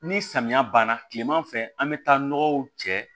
Ni samiya banna kilema fɛ an be taa nɔgɔw cɛ